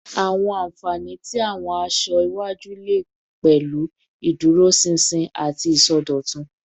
Awọn anfani ti awọn aṣọ-aṣọ iwaju le pẹlu iduroṣinṣin ati isọdọtun